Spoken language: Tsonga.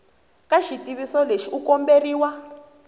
ka xitiviso lexi u komberiwa